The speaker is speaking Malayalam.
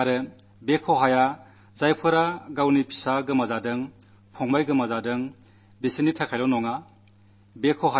ഈ നഷ്ടം മകൻ നഷ്ടപ്പെട്ട സഹോദരൻ നഷ്ടപ്പെട്ട ഭർത്താവ് നഷ്ടപ്പെട്ട ആ കുടുംബങ്ങളുടേതു മാത്രമല്ല